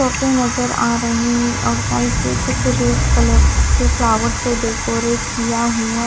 सोफे नजर आ रहे हैं और साइड से कुछ रेड कलर के फ्लावर से डेकोरेट किया हुआ--